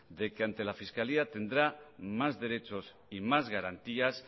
de que ante la fiscalía tendrá más derechos y más garantías